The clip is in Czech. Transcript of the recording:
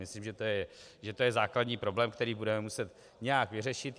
Myslím, že to je základní problém, který budeme muset nějak vyřešit.